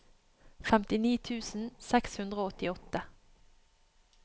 femtini tusen seks hundre og åttiåtte